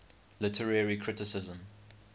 literary criticism